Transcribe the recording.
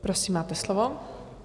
Prosím, máte slovo.